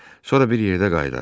Sonra bir yerdə qayıdarıq.